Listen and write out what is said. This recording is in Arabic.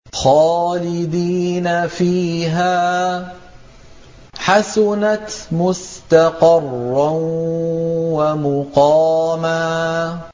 خَالِدِينَ فِيهَا ۚ حَسُنَتْ مُسْتَقَرًّا وَمُقَامًا